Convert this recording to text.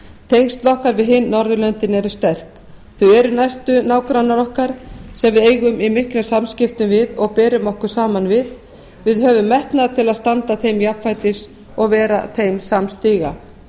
tengsl okkar við hin norðurlöndin eru sterk þau eru næstu nágrannar okkar sem við eigum í miklum samskiptum við og berum okkur saman við við höfum metnað til að standa þeim jafnfætis og vera þeim samstiga